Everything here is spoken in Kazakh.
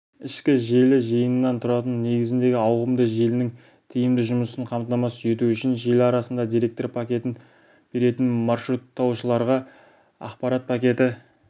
ішкі желі жиынынан тұратын негізіндегі ауқымды желінің тиімді жұмысын қамтамасыз ету үшін желі арасында деректер пакетін беретін маршруттаушыларға ақпарат пакеті